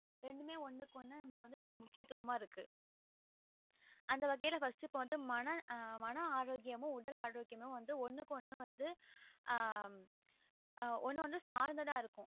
ரெண்டுமே ஒன்னுக்கு ஒன்னு நமக்கு முக்கியத்துவமா இருக்கு அந்த வகையில first க்கு வந்துட்டு மன ஆரோக்கியமும் உடல் ஆரோக்கியமும் ஒன்னுக்கு ஒன்னு ஆஹ் ஒன்னு வந்து சார்ந்ததா இருக்கும்